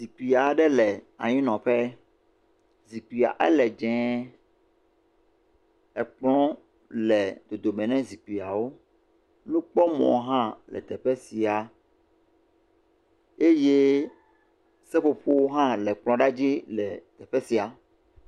Zikpui aɖe le tanyinɔƒe, zikpuia ele dzee, ekplɔ le dodome ne zikpuiawo, nukpɔmɔ hã le teƒe sia eye seƒoƒowo hã le kplɔ la dzi le teƒ sia.